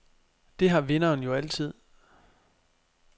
Det har vinderen jo altid.